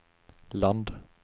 land